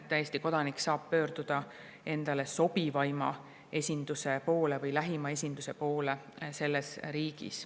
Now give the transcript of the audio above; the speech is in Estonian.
Eesti kodanik saab pöörduda endale sobivaima või lähima esinduse poole selles riigis.